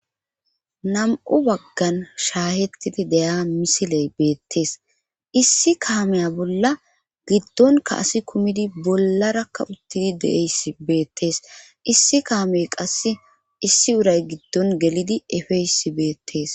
Nam,u baggan shaahettidi deya misiley beettees issi kahameya bolla giddonka asi kumidi bollarakka uttidi deeyss beettees issi kahamey qasse issi uray giddon gelidi efeysi beettees